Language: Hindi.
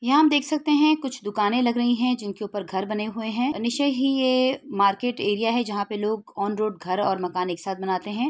यहाँ हम देख सकते हैं कुछ दुकानें लग रही है। जिनके ऊपर घर बने हुए है निश्चय ही ये मार्किट एरिया है। जहाँ पे लोग ऑन रोड घर और मकान एक साथ बनाते हैं।